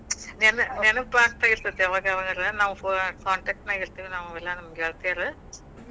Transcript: ನೆನಪ್ ಆಗ್ತಾ ಇರತ್ತತ್ ಯಾವಾಗ್ಯಾವಾಗಾರ, ನಾವ್ contact ನ್ಯಾಗ ಇರತಿವಿ ನಾವ್ ಎಲ್ಲಾ ಗೆಳ್ತಾರು.